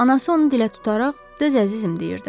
Anası onu dilə tutaraq, döz əzizim deyirdi.